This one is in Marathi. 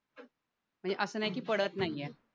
असं नाही की पडत नाहीये